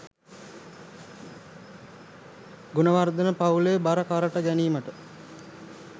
ගුණවර්ධන පවුලේ බර කරට ගැනීමට